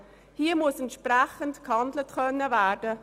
Hier muss entsprechend gehandelt werden können.